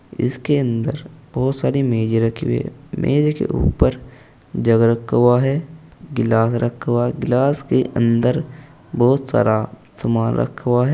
इसके अंदर बहुत सारी मेज रखी हुई है मेज के ऊपर जग रखा हुआ है गिलास रखा हुआ गिलास के अंदर बहुत सारा सामान रखा हुआ है।